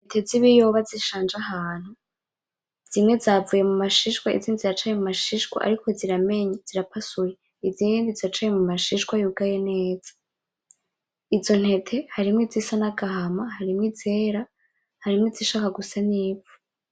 Intete z' ibiyoba zishanje ahantu zimwe zavuye mumashishwa izindi ziracari mumashishwa ariko ziramenye zirapasuye izindi ziracari mumashishwa yugaye neza. Izo ntete harimwo izisa n'agahama, harimwo izera, harimwo izishaka gusa n’ivu.